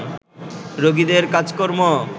রোগীদের কাজকর্ম